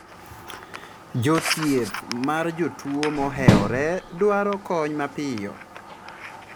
Jothieth mar jotuo moheore dwaro kony mapiyo.